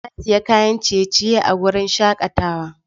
Na sayi kayan ciye-ciye a wurin shakatawa.